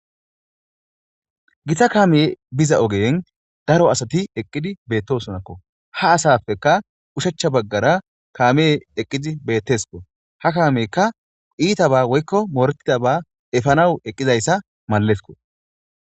githa kaamee biza ogen daro asati eqqidi beettosonakko ha asafeka ushechcha baggara kaame eqqidi beetteskko ha kaamekka iitaba woykko mooretidaba efanaw eqqizayssa malezko.